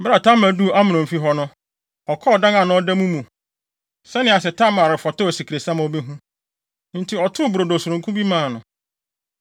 Bere a Tamar duu Amnon fi hɔ no, ɔkɔɔ ɔdan a na ɔda mu no mu, sɛnea sɛ Tamar refɔtɔw asikresiam a obehu. Enti ɔtoo brodo sononko bi maa no.